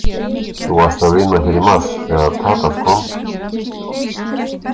Þú varst að vinna hér í mars þegar Tadas kom?